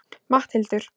Matthildur